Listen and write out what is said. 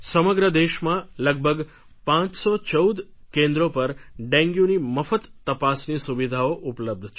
સમગ્ર દેશમાં લગભગ પાંચસો ચૌદ કેન્દ્રો પર ડેન્ગ્યુની મફત તપાસની સુવિધાઓ ઉપલબ્ધ છે